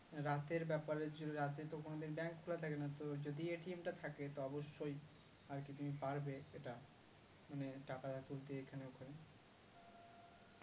রাতের ব্যাপারে রাতে তো কোনোদিন bank খোলা থাকে না তো যদি টা থাকে তো অবশ্যই আর কি তুমি পারবে এটা মানে টাকা তুলতে এখানে ওখানে